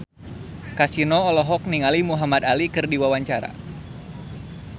Kasino olohok ningali Muhamad Ali keur diwawancara